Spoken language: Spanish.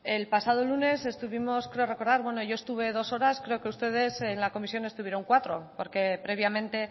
el pasado lunes estuvimos creo recordar bueno yo estuve dos horas creo que ustedes en la comisión estuvieron cuatro porque previamente